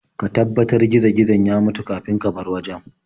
Ka tabbatar gizo-gizon ya mutu kafin ka bar wajen.